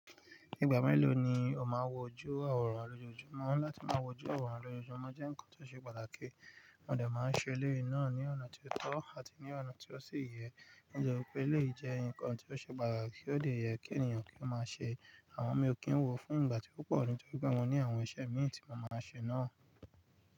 Ìgbà mélòó ni o máa ń wojú àwòrán lójoojúmọ́? Láti máa wojú àwòrán lójoojúmọ́ jẹ́ ǹkan tó ṣe pàtàkì, mo dẹ̀ máa ń ṣe eléyìí náà ní ọ̀nà ti ó tọ́ àti ní ọ̀nà ti ó sì yẹ, nítorí pé eléyìí jẹ́ ǹkan ti ó ṣe pàtàkì ó de yẹ kí ènìyàn kí ó máa ṣe. Àmọ mi ò kí ń wò ó fún ìgbà tó pọ̀, nítorí pé mo ní àwọn iṣẹ́ mii tí mo máa ṣe náà.